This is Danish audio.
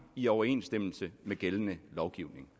i overensstemmelse med gældende lovgivning